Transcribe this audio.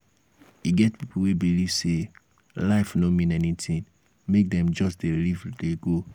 e get pipo wey believe sey life no mean anything make dem just dey live dey go